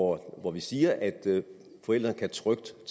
hvor vi siger at forældrene trygt